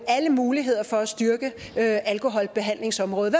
og alle muligheder for at styrke alkoholbehandlingsområdet